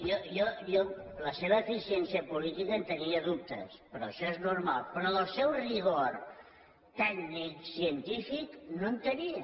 jo de la seva eficiència política en tenia dubtes però això és normal però del seu rigor tècnic científic no en tenia